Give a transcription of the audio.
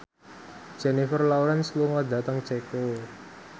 Jennifer Lawrence lunga dhateng Ceko